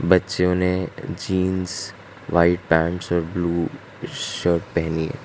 बच्चों ने jeans white pants और ब्लू शर्ट पहनी--